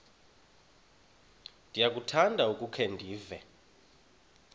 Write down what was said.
ndiyakuthanda ukukhe ndive